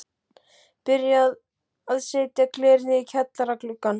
Byrjað að setja glerið í kjallara gluggana.